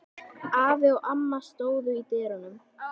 Afi og amma stóðu í dyrunum.